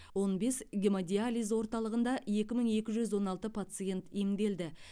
он бес гемодиализ орталығында екі мың екі жүз он алты пациент емделді